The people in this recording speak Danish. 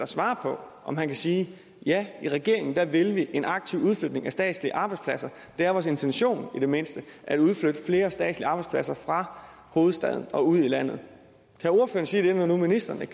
svare på om han kan sige ja i regeringen vil vi en aktiv udflytning af statslige arbejdspladser det er vores intention i det mindste at udflytte flere statslige arbejdspladser fra hovedstaden og ud i landet kan ordføreren sige det når nu ministeren